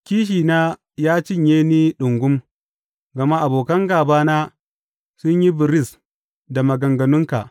Kishina ya cinye ni ɗungum, gama abokan gābana sun yi biris da maganganunka.